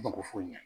Mako foyi ɲa